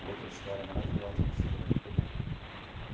Outra história maravilhosa que você deve pegar.